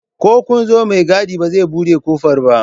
Ko kunzo mai gadi ba zai buɗe kofar ba